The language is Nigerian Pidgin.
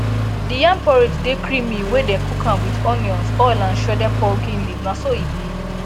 di yam porridge dey creamy wey dem cook am with onions oil and shredded pumpkin leaves na so e be